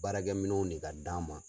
Baarakɛ minɛnw de ka d'an ma.